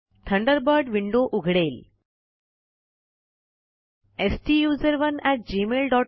Thunderbird window उघडेल